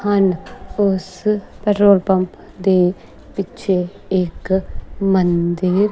ਹਨ ਉਸ petrol pump ਦੇ ਪਿੱਛੇ ਇੱਕ ਮੰਦਿਰ--